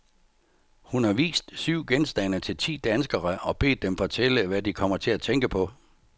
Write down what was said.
Hun har vist syv genstande til ti danskere og bedt dem fortælle, hvad de kommer til at tænke på.